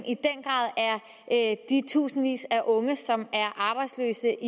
i tusindvis af unge som er arbejdsløse